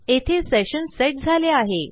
येथे session set झाले आहे